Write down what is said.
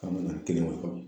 K'an ma na